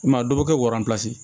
I m'a ye a dɔw bɛ kɛ waransi